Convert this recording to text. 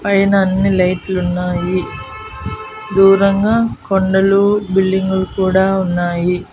పైన అన్ని లైట్లు ఉన్నాయి దూరంగా కొండలు బిల్డింగ్ లు కూడా ఉన్నాయి.